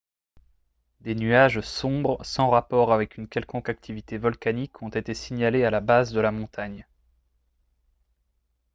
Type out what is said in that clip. des nuages sombres sans rapport avec une quelconque activité volcanique ont été signalés à la base de la montagne